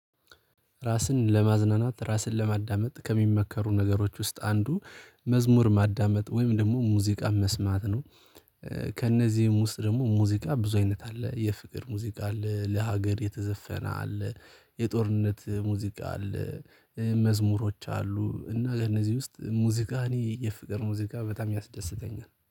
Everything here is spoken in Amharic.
ራስን ለማዝናናት ራስን ለማዳመጥ ከሚመከሩ ነገሮች ውስጥ አንዱ መዝሙር ማዳመጥ ወይም ደግሞ ሙዚቃ መስማት ነው። ከእነዚህም ውስጥ ደግሞ ሙዚቃ ብዙ አይነት አለ የፍቅር ሙዚቃ አለ ለሀገር የተዘፈነ አለ። የጦርነት ሙዚቃ አለ። መዝሙሮች አሉ እና ከእነዚህ ውስጥ ሙዚቃኒ የፍቅር ሙዚቃ በጣም ያስደስተኛል